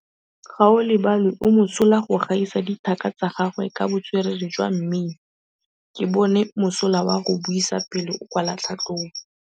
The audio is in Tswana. Gaolebalwe o mosola go gaisa dithaka tsa gagwe ka botswerere jwa mmino. Ke bone mosola wa go buisa pele o kwala tlhatlhobô.